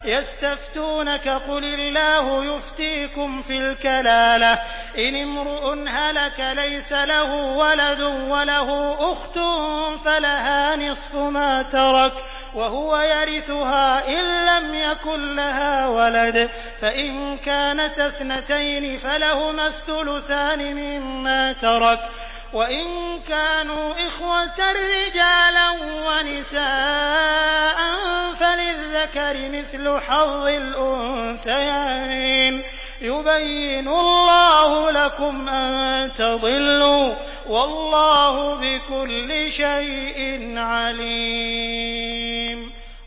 يَسْتَفْتُونَكَ قُلِ اللَّهُ يُفْتِيكُمْ فِي الْكَلَالَةِ ۚ إِنِ امْرُؤٌ هَلَكَ لَيْسَ لَهُ وَلَدٌ وَلَهُ أُخْتٌ فَلَهَا نِصْفُ مَا تَرَكَ ۚ وَهُوَ يَرِثُهَا إِن لَّمْ يَكُن لَّهَا وَلَدٌ ۚ فَإِن كَانَتَا اثْنَتَيْنِ فَلَهُمَا الثُّلُثَانِ مِمَّا تَرَكَ ۚ وَإِن كَانُوا إِخْوَةً رِّجَالًا وَنِسَاءً فَلِلذَّكَرِ مِثْلُ حَظِّ الْأُنثَيَيْنِ ۗ يُبَيِّنُ اللَّهُ لَكُمْ أَن تَضِلُّوا ۗ وَاللَّهُ بِكُلِّ شَيْءٍ عَلِيمٌ